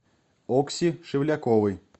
окси шевляковой